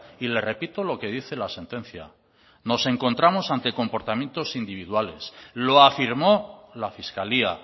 y le repito lo que dice la sentencia nos encontramos ante comportamientos individuales lo afirmó la fiscalía